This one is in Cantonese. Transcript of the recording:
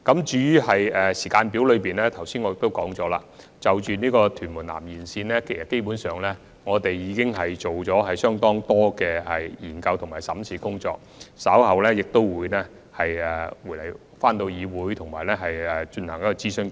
至於落實時間表方面，我剛才已經指出，當局基本上已就屯門南延線進行了相當多的研究和審視工作，稍後便會向議會進行諮詢。